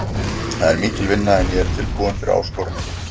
Það er mikil vinna en ég er tilbúinn fyrir áskorunina.